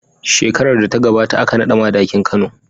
Shekarar da ta gabata aka naɗa Madakin Kano.